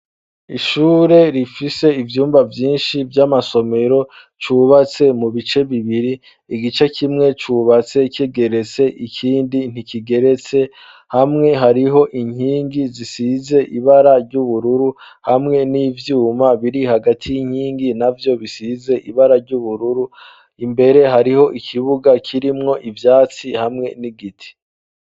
Ishure rifise ivyumba vyinshi vy'amasomero ryubatse mu bice bibiri. Igice kimwe cubatse kigeretse, ikindi ntikigeretse. Hamwe hariho inkingi zisize ibara ry'ubururu, hamwe n'ivyuma biri hagati y'inkingi navyo bisize ibara ry'ubururu. Imbere hariho ikibuga kirimwo ivyatsi hamwe n'igiti.